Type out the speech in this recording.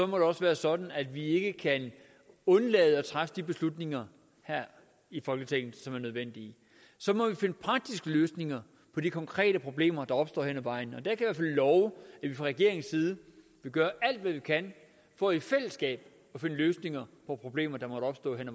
må det også være sådan at vi ikke skal undlade at træffe de beslutninger her i folketinget som er nødvendige så må vi finde praktiske løsninger på de konkrete problemer der opstår hen af vejen og der love at vi fra regeringens side vil gøre alt hvad vi kan for i fællesskab at finde løsninger på problemer der måtte opstå hen